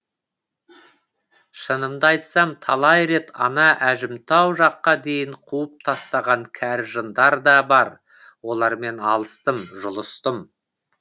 шынымды айтсам талай рет ана әжімтау жаққа дейін қуып тастаған кәрі жындар да бар олармен алыстым жұлыстым